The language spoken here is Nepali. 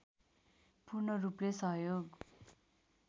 पूर्णरूपले सहयोग